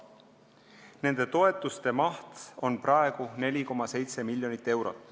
Nende toetuste maht on praegu 4,7 miljonit eurot.